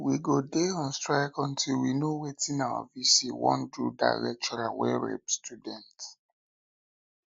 we go dey on strike until we know wetin our vc wan do dat lecturer wey rape student